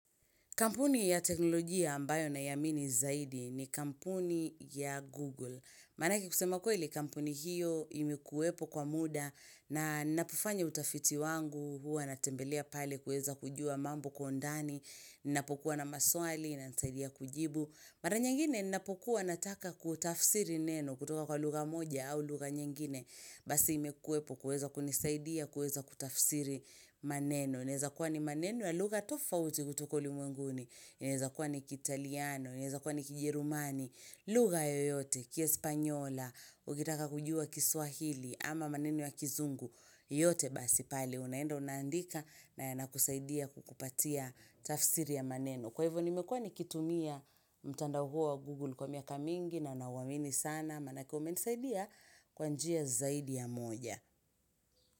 Kampuni ya teknolojia ambayo naiamini zaidi ni kampuni ya Google. Maanake kusema kweli kampuni hiyo imekuwepo kwa muda na ninapofanya utafiti wangu, huwa natembelea pale kuweza kujua mambo kwa undani, ninapokuwa na maswali, inanisaidia kujibu. Mara nyingine ninapokuwa nataka kutafsiri neno kutoka kwa lugha moja au lugha nyingine. Basi imekuwepo kuweza kunisaidia kuweza kutafsiri maneno. Unaeza kuwa ni maneno ya lugha tofauti kutoka ulimwenguni, inaeza kuwa ni kiitaliano, inaeza kuwa ni kijerumani, lugha yoyote, kiespanyola, ukitaka kujua kiswahili, ama maneno ya kizungu, yote basi pale, unaenda unaandika na yanakusaidia kukupatia tafsiri ya maneno. Kwa hivyo nimekua nikitumia mtandao huo wa Google kwa miaka mingi na nauamini sana, maanake umenisaidia kwa njia zaidi ya moja.